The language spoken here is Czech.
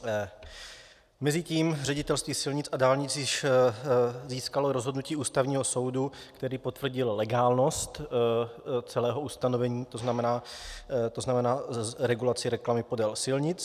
Mezitím Ředitelství silnic a dálnic již získalo rozhodnutí Ústavního soudu, který potvrdil legálnost celého ustanovení, to znamená regulaci reklamy podél silnic.